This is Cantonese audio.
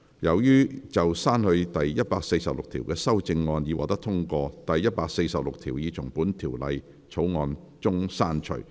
由於就刪去第146條的修正案已獲得通過，第146條已從本條例草案中刪去。